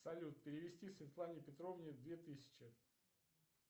салют перевести светлане петровне две тысячи